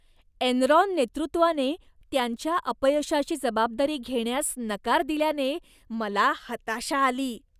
Enron नेतृत्वाने त्यांच्या अपयशाची जबाबदारी घेण्यास नकार दिल्याने मला हताशा आली.